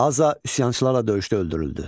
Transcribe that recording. Aza üsyançılarla döyüşdə öldürüldü.